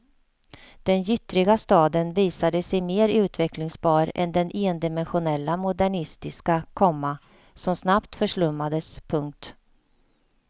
Den gyttriga staden visade sig mer utvecklingsbar än den endimensionella modernistiska, komma som snabbt förslummades. punkt